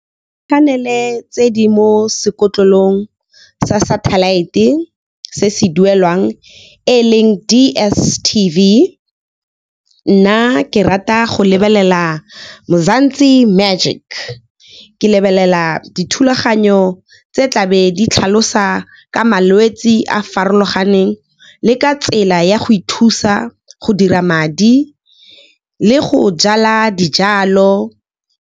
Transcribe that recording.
Dikanele tse di mo sekotlolong sa satellite e se se duelwang e leng DSTV, nna ke rata go lebelela Mzansi Magic. Ke lebelela dithulaganyo tse tlabe di tlhalosa ka malwetse a farologaneng le ka tsela ya go ithusa go dira madi le go jala dijalo.